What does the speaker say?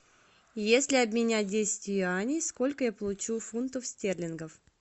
если обменять десять юаней сколько я получу фунтов стерлингов